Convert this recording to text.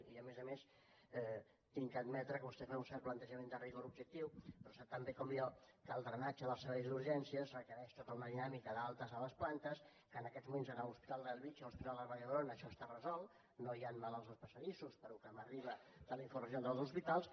i a més a més he d’admetre que vostè fa un cert plantejament de rigor objectiu però sap tan bé com jo que el drenatge dels serveis d’urgències requereix tota una dinàmica d’altes a les plantes que en aquests moments a l’hospital de bellvitge i a l’hospital de la vall d’hebron això està resolt no hi han malalts als passadissos pel que m’arriba de les informacions dels hospitals